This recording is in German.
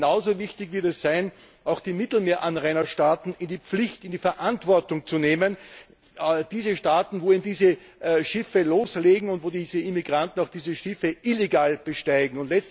Genauso wichtig wird es sein, auch die Mittelmeeranrainerstaaten in die Pflicht, in die Verantwortung zu nehmen diese Staaten, wo diese Schiffe loslegen und wo diese Immigranten diese Schiffe illegal besteigen.